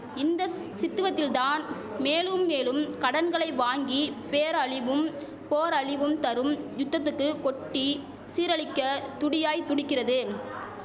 Indus சித்துவத்தில் தான் மேலும் மேலும் கடன்களை வாங்கி பேரழிவும் போரழிவும் தரும் யுத்தத்துக்கு கொட்டி சீரழிக்க துடியாய் துடிக்கிறது